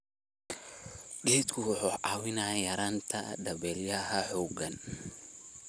Geeduhu waxay caawiyaan yaraynta dabaylaha xooggan.